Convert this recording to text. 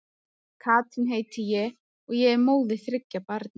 Katrín heiti ég og og er móðir þriggja barna.